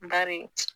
Bari